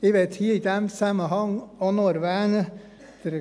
Ich möchte hier in diesem Zusammenhang auch noch etwas erwähnen: